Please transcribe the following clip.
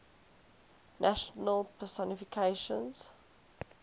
national personifications